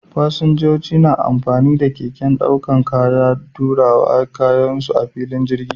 Fasinjoji na amfani da keken ɗaukar kaya don tura kayan su a filin jirgi.